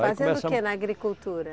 Fazendo o que na agricultura?